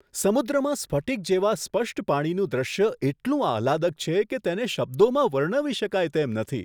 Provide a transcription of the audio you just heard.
સમુદ્રમાં સ્ફટિક જેવા સ્પષ્ટ પાણીનું દૃશ્ય એટલું આહલાદક છે કે તેેને શબ્દોમાં વર્ણવી શકાય તેમ નથી!